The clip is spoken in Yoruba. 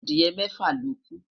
Adiye mẹfa loku